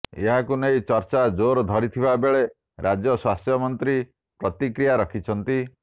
ଏହାକୁ ନେଇ ଚର୍ଚା ଜୋର ଧରିଥିବା ବେଳେ ରାଜ୍ୟ ସ୍ୱାସ୍ଥ୍ୟମନ୍ତ୍ରୀ ପ୍ରତିକ୍ରିୟା ରଖିଛନ୍ତି